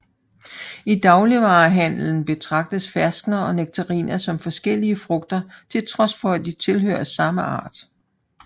I dagligvarehandelen betragtes ferskner og nektariner som forskellige frugter til trods for at de tilhører samme art